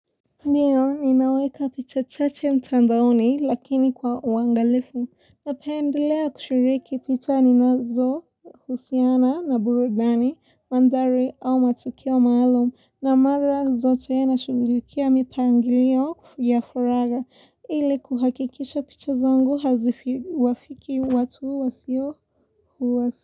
Ndiyo, ninaweka picha chache mtandaoni lakini kwa uangalifu, napendelea kushiriki picha ninazo husiana na burudani, mandhari au matukiwa maalum, na mara zote nashughulikia mipangilio ya furaha, ile kuhakikisha picha zangu haziwafikii watu wasio.